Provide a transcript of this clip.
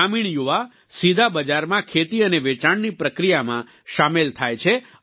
ગ્રામીણયુવા સીધા બજારમાં ખેતી અને વેચાણની પ્રક્રિયામાં સામેલ થાય છે